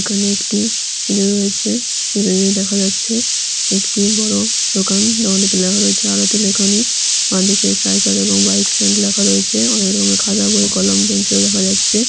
এখানে একটি ছেলে রয়েছে ছেলেদের দেখা যাচ্ছে একটি বড়ো দোকান দোকানটিতে লেখা রয়েছে আরতি লেখনী বাঁদিকে সাইকেল এবং বাইক স্ট্যান্ড লেখা রয়েছে অনেক রকমের খাতা বই কলম পেন্সিল দেখা যাচ্ছে।